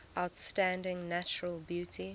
outstanding natural beauty